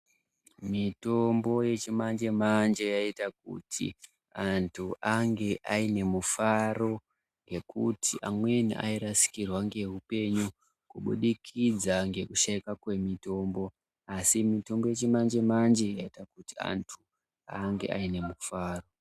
Mitombo yechimanje manje yaita kuti antu ange ainemufaro ngekuti amweni airasikirwa ngeupenyu kubudikidza ngekushayika kwemitombo asi mitombo yechimanje manje yaita kuti antu ange ainemufaro.